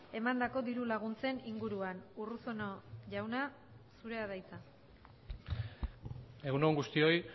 emandako diru laguntzen inguruan urruzuno jauna zurea da hitza egun on guztioi